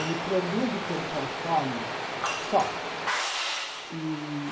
Ele produz o que ele consome só. E